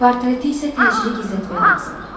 Portreti isə təcili gizlətmək lazımdır.